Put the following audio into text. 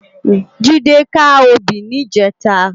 Jide ká óbì nijètá